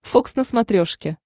фокс на смотрешке